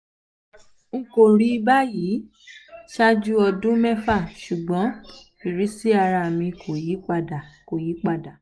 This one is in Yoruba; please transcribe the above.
n kò rí báyìí um ṣáájú ọdún mẹ́fà ṣùgbọ́n ìrísí ara mi kò yí padà kò yí padà